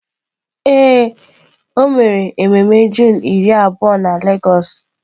Ee, o mere ememe Juunu iri na abụọ na lagos.